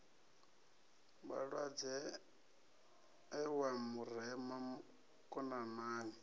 vhalwadze e wa murema konanani